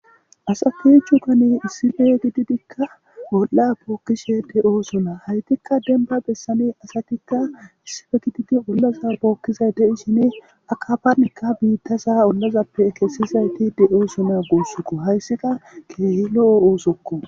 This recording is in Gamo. asatichu kane issife gididikka bolla bookkishe de7o sona haytikka denba bessane asatikka issife gididi ollaza pookkizay deishine akafanikka biitta sa ollazappe ekessizayti de7o sona goossukko hayssika keehi lo7o oosokko